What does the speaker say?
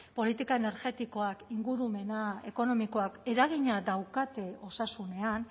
politika energetikoak ingurumena ekonomikoak eragina daukate osasunean